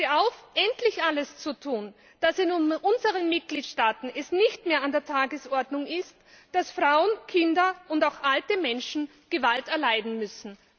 Ich fordere Sie auf, endlich alles zu tun, damit es in unseren Mitgliedstaaten nicht mehr an der Tagesordnung ist, dass Frauen, Kinder und auch alte Menschen Gewalt erleiden müssen.